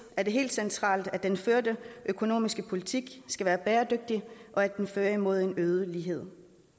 er det helt centralt at den førte økonomiske politik skal være bæredygtig og at den fører imod en øget lighed